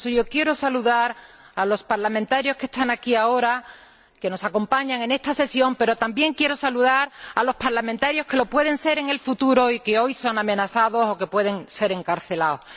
Por eso, yo quiero saludar a los parlamentarios que están aquí ahora, que nos acompañan en esta sesión, pero también quiero saludar a los parlamentarios que lo pueden ser en el futuro y que hoy son amenazados o que pueden ser encarcelados.